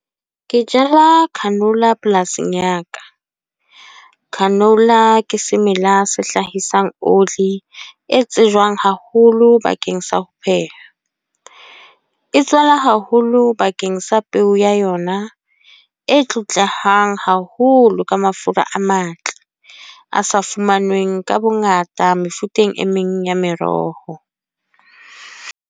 Ke jala canola polasing ya ka. Canola ke semela se hlahisang oli, e tsejwang haholo bakeng sa ho pheha. E tswala haholo bakeng sa peo ya yona, e tlotlehang haholo ka mafura a matle. A sa fumanweng ka bongata mefuteng e meng ya meroho.